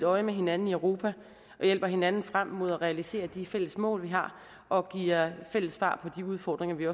øje med hinanden i europa og hjælper hinanden frem mod at realisere de fælles mål vi har og giver fælles svar på de udfordringer vi